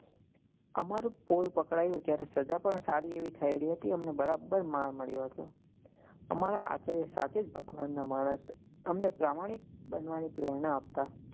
અમારું પોલ પકડાયું જ્યારે સજા પણ સારી એવી થયેલી હતી અમને બરાબર માર મળ્યો હતો અમારા આચાર્ય સાચે જ ભગવાન ના માણસ અમને પ્રમાણિક બનવા ની પ્રેરણા આપતા.